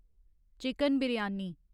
chicken biryani